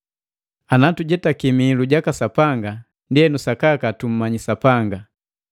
Ana tujetaki mihilu jaka Sapanga, ndienu sakaka tumanyi Sapanga.